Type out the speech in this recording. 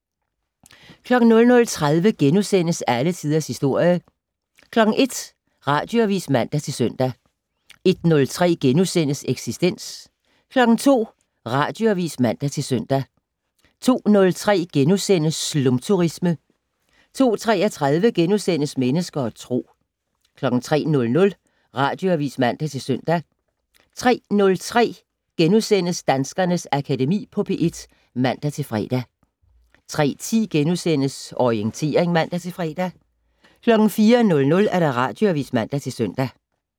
00:30: Alle Tiders Historie * 01:00: Radioavis (man-søn) 01:03: Eksistens * 02:00: Radioavis (man-søn) 02:03: Slumturisme * 02:33: Mennesker og Tro * 03:00: Radioavis (man-søn) 03:03: Danskernes Akademi på P1 *(man-fre) 03:10: Orientering *(man-fre) 04:00: Radioavis (man-søn)